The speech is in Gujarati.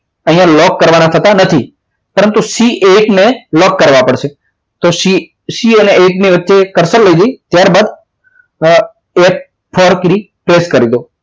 અહીંયા લોક કરવાના થતા નથી પરંતુ C eight ને લોક કરવા પડશે તો C અને C eight ની વચ્ચે કરસર લઈ જાય ત્યારબાદ થી trap કરી દો